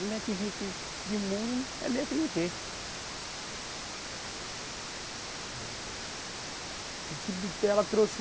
Um metro e vinte de muro, é mesmo que não ter. Eita. E que bitela trouxe